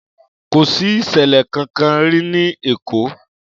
Kò sí ìsẹ̀lẹ̀ kankan rí ní Èkó